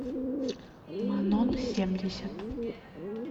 манон семьдесят